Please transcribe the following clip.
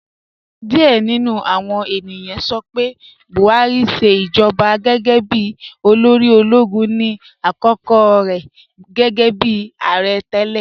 Diẹ̀ ni nú àwọn ènìyàn sọ pé Buhari ṣẹ ijọba gẹ́gẹ́ bí olóri ologun ni akókò rẹ gẹ́gẹ́bi aarẹ̀ tẹlẹ.